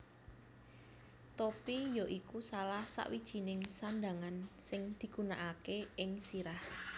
Topi ya iku salah sawijininng sandhangan sing digunakaké ing sirah